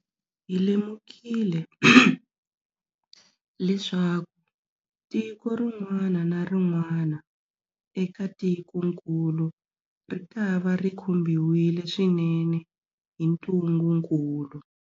Hi lemukile leswaku tiko rin'wana na rin'wana eka tikokulu ritava ri khumbiwile swinene hi ntungukulu.